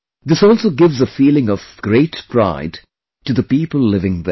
This also gives a feeling of great pride to the people living there